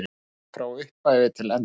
Alveg frá upphafi til enda?